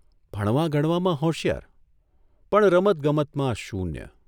ભણવાગણવામાં હોશિયાર પણ રમતગમતમાં શૂન્ય!